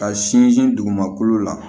Ka sinsin dugumakolo la